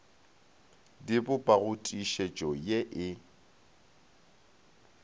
di bopago tiišetšo ye e